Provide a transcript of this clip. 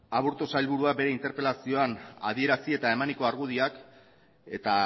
aburto sailburuak bere interpelazioan adierazi eta emaniko argudioak eta